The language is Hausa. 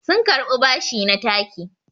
sun karɓi bashi na taki